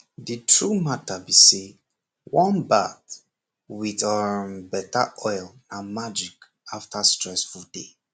the true matter b say warm bath with um better oil na magic after stressful day